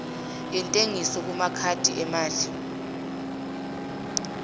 yentengiso kumakhadi emali